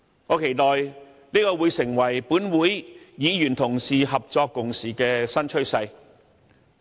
我期待這會成為本會議員同事合作共事的新趨勢。